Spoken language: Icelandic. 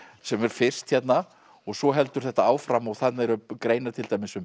sem er fyrst hérna svo heldur þetta áfram og þarna eru greinar til dæmis um